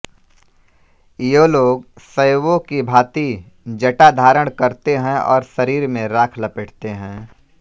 ये लोग शैवो की भाँति जटा धारण करते है और शरीर में राख लपेटते हैं